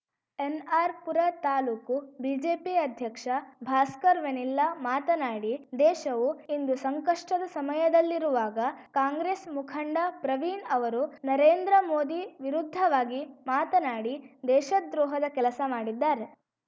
NR Pura taluk BJP ಅಧ್ಯಕ್ಷ ಭಾಸ್ಕರ್‌ ವೆನಿಲ್ಲಾ ಮಾತನಾಡಿ ದೇಶವು ಇಂದು ಸಂಕಷ್ಟದ ಸಮಯದಲ್ಲಿರುವಾಗ ಕಾಂಗ್ರೆಸ್‌ ಮುಖಂಡ ಪ್ರವೀಣ್‌ ಅವರು ನರೇಂದ್ರ ಮೋದಿ ವಿರುದ್ಧವಾಗಿ ಮಾತನಾಡಿ ದೇಶದ್ರೋಹದ ಕೆಲಸ ಮಾಡಿದ್ದಾರೆ